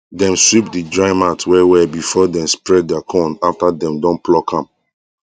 dem sweep the dry mat well well before before dem spread der corn after dem don pluck am